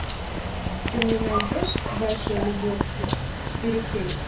ты мне найдешь большой любовский четыре кей